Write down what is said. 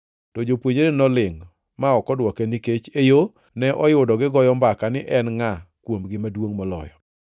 To jopuonjrene nolingʼ ma ok odwoke nikech e yo ne oyudo gigoyo mbaka ni en ngʼa kuomgi maduongʼ moloyo.